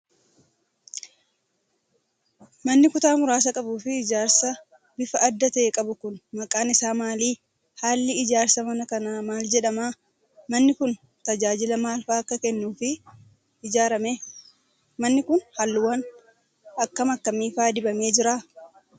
Manni kutaa muraasa qabuu fi ijaarsa bifa addaa ta'e qabu kun ,maqaan isaa maali? Haalli ijaarsa mana kanaa maal jedhama? Manni kun ,tajaajila maal faa akka kennuuf ijaarame? Manni kun haalluuwwan akka kamii faa dibamee jira?